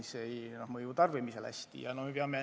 See ei mõju hästi.